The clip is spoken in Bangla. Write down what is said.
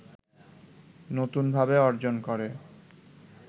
নতুনভাবে অর্জন করে